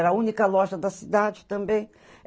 Era a única loja da cidade também.